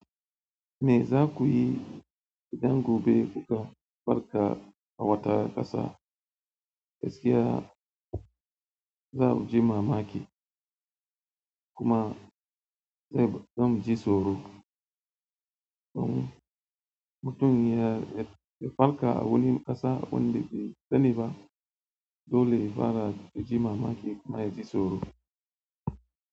Me za ku yi idan gobe kuka farka a wata ƙasa gaskiya za ku ji mamaki kuma zai zan ji tsoro? To mutumi ya, ya farka a wani ƙasa wanda bai sani ba dole ya fara ji mamaki kuma ya ji tsoro.